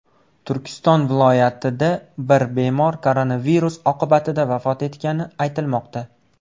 Turkiston viloyatida bir bemor koronavirus oqibatida vafot etgani aytilmoqda.